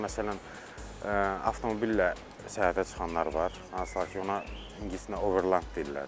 Məsələn, avtomobillə səyahətə çıxanlar var, hansılar ki, ona ingiliscə Overland deyirlər də.